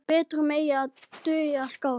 Betur megi ef duga skal.